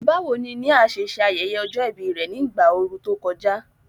Báwo ni Nia ṣe ṣe ayẹyẹ ọjọ́ ìbí rẹ̀ ní ìgbà ooru tó kọjá?